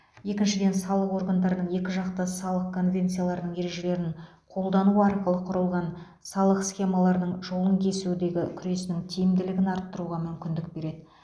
екіншіден салық органдарының екіжақты салық конвенцияларының ережелерін қолдану арқылы құрылған салық схемаларының жолын кесудегі күресінің тиімділігін арттыруға мүмкіндік береді